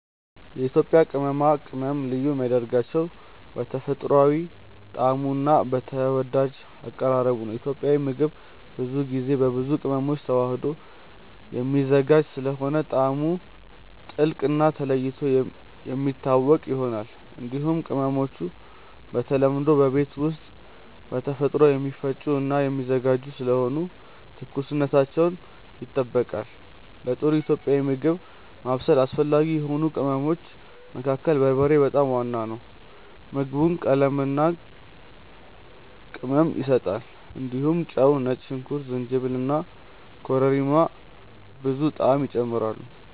የኢትዮጵያ ቅመማ ቅመም ልዩ የሚያደርገው በተፈጥሯዊ ጣዕሙ እና በተወዳጅ አቀራረቡ ነው። ኢትዮጵያዊ ምግብ ብዙ ጊዜ በብዙ ቅመሞች ተዋህዶ የሚዘጋጅ ስለሆነ ጣዕሙ ጥልቅ እና ተለይቶ የሚታወቅ ይሆናል። እንዲሁም ቅመሞቹ በተለምዶ በቤት ውስጥ በተፈጥሮ የሚፈጩ እና የሚዘጋጁ ስለሆኑ ትኩስነታቸው ይጠበቃል። ለጥሩ ኢትዮጵያዊ ምግብ ማብሰል አስፈላጊ የሆኑ ቅመሞች መካከል በርበሬ በጣም ዋና ነው። ምግቡን ቀለምና ቅመም ይሰጣል። እንዲሁም ጨው፣ ነጭ ሽንኩርት፣ ጅንጅብል እና ኮረሪማ ብዙ ጣዕም ይጨምራሉ።